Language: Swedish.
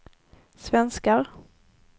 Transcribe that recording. svenskar